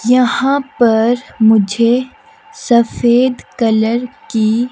यहां पर मुझे सफेद कलर की--